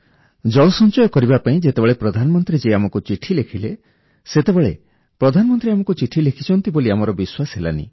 ଜଳ ସଞ୍ଚୟ କରିବା ପାଇଁ ଯେତେବେଳେ ପ୍ରଧାନମନ୍ତ୍ରୀ ଜୀ ଆମକୁ ଚିଠି ଲେଖିଲେ ସେତେବେଳେ ପ୍ରଧାନମନ୍ତ୍ରୀ ଆମକୁ ଚିଠି ଲେଖିଛନ୍ତି ବୋଲି ଆମର ବିଶ୍ୱାସ ହେଲାନି